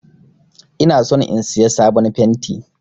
Ina son in Siya sabon fenti.